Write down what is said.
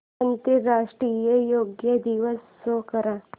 आंतरराष्ट्रीय योग दिवस शो कर